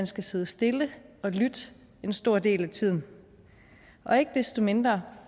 skal sidde stille og lytte en stor del af tiden og ikke desto mindre